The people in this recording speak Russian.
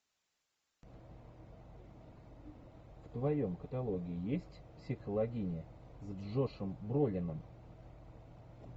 в твоем каталоге есть психологини с джошем бролином